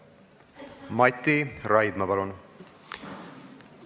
Mati Raidma, palun!